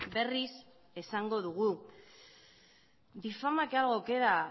berriz esango dugu difama que algo queda